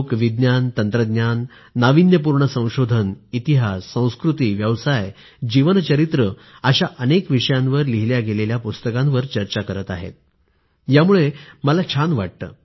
लोक विज्ञान तंत्रज्ञान नाविन्यपूर्ण संशोधन इतिहास संस्कृतीव्यवसाय जीवन चरित्र अशा अनेक विषयांवर लिहिल्या गेलेल्या पुस्तकांवर चर्चा करत आहेत यामुळे मला छान वाटलं